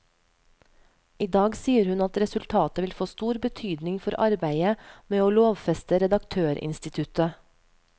I dag sier hun at resultatet vil få stor betydning for arbeidet med å lovfeste redaktørinstituttet.